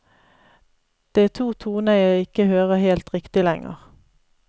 Det er to toner jeg ikke hører helt riktig lenger.